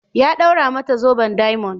Ya d'aura mata zoben diamond.